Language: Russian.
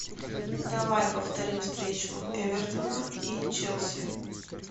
давай повторим встречу эвертона и челси